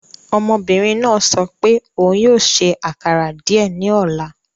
Ọmọbinrin naa sọ pe oun yoo ṣe akara diẹ ni ọla